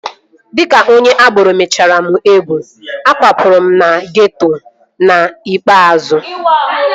Dịka onye agboro menyechara m egwu, akwapụrụ m na geeto n'ikpeazụ